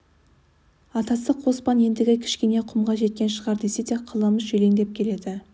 атасы қоспан ендігі кішкене құмға жеткен шығар десе де қаламүш елеңдеп келеді